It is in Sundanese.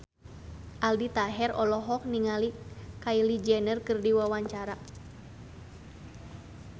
Aldi Taher olohok ningali Kylie Jenner keur diwawancara